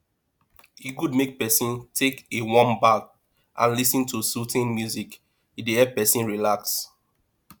e good make pesin take a warm bath and lis ten to soothing music e dey help pesin relax